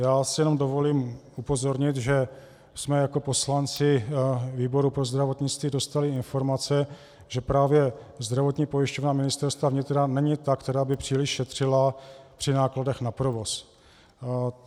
Já si jenom dovolím upozornit, že jsme jako poslanci výboru pro zdravotnictví dostali informace, že právě Zdravotní pojišťovna Ministerstva vnitra není ta, která by příliš šetřila při nákladech na provoz.